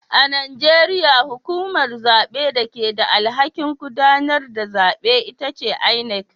A Najeriya hukumar zabe da ke da alhakin gudanar da zabe ita ce inec